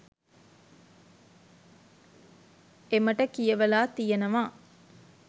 එමට කියවලා තියෙනවා.